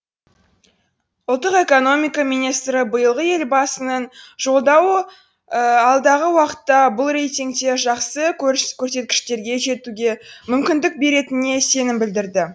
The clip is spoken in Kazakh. ұлттық экономика министрі биылғы елбасының жолдауы алдағы уақытта бұл рейтингте жақсы көрсеткішке жетуге мүмкіндік беретініне сенім білдірді